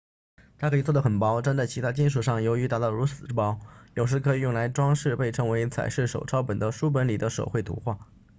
它可以做得很薄粘在其他金属上由于达到如此之薄有时可以用于装饰被称为彩饰手抄本的书本里的手绘图画